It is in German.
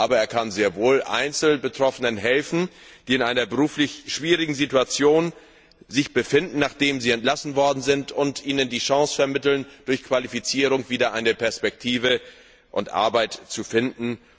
Aber er kann sehr wohl Einzelbetroffenen helfen, die sich in einer beruflich schwierigen Situation befinden, nachdem sie entlassen wurden, und ihnen die Chance vermitteln, durch Qualifizierung wieder eine Perspektive und Arbeit zu finden.